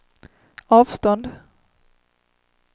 avstånd